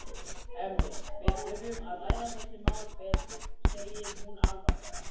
Hemmi, við þurfum að ræða þessi mál betur, segir hún alvarleg.